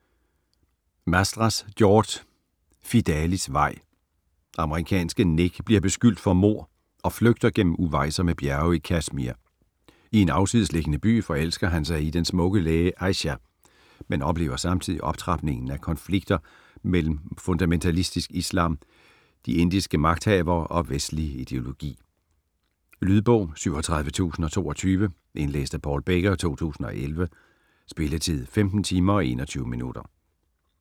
Mastras, George: Fidalis vej Amerikanske Nick bliver beskyldt for mord og flygter gennem uvejsomme bjerge i Kashmir. I en afsidesliggende by forelsker han sig i den smukke læge Aysha, men oplever samtidig optrapningen af konflikter mellem fundamentalistisk islam, de indiske magthavere og vestlig ideologi. Lydbog 37022 Indlæst af Paul Becker, 2011. Spilletid: 15 timer, 21 minutter.